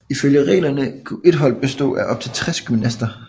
Ifølge reglerne kunne et holdet bestå af op til 60 gymnaster